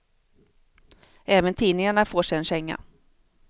Även tidningarna får sig en känga.